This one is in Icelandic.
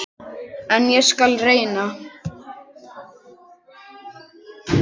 En ég skal reyna.